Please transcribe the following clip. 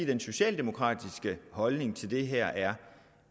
den socialdemokratiske holdning til det her er